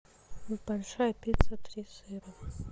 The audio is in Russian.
большая пицца три сыра